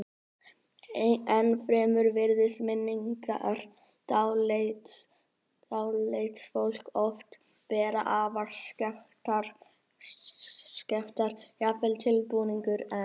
Ennfremur virðast minningar dáleidds fólks oft vera afar skekktar, jafnvel tilbúningur einn.